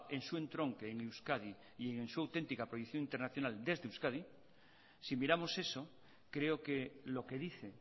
en su entronque en euskadi y en su auténtica proyección internacional desde euskadi si miramos eso creo que lo que dice